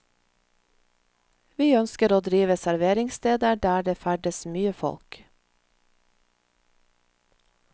Vi ønsker å drive serveringssteder der det ferdes mye folk.